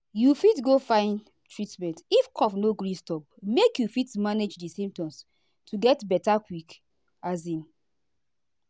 you fit go find treatment if cough no gree stop make you fit manage di symptoms to get beta quick. um